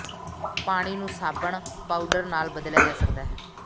ਪਾਣੀ ਨੂੰ ਸਾਬਣ ਪਾਊਡਰ ਨਾਲ ਬਦਲਿਆ ਜਾ ਸਕਦਾ ਹੈ